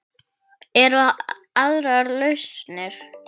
Eru aðrar lausnir?